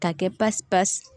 Ka kɛ pasi pasi